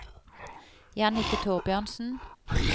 Jannicke Thorbjørnsen